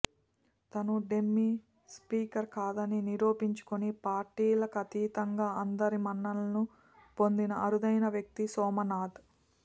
తాను dummy speaker కాదని నిరూపించుకొని పార్టీలకతీతంగా అందరి మన్ననలను పొందిన అరుదైన వ్యక్తి సోమ్నాథ్